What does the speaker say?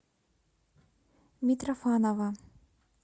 митрофанова